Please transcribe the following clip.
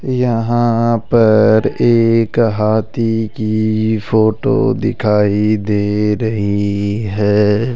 यहां पर एक हाथी की फोटो दिखाई दे रही है।